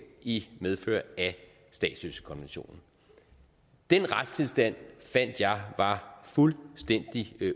i medfør af statsløsekonventionen den retstilstand fandt jeg var fuldstændig